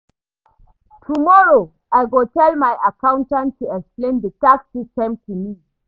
Tomorrow, I go tell my accountant to explain di tax system to me.